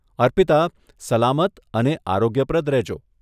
અર્પિતા, સલામત અને આરોગ્યપ્રદ રહેજો.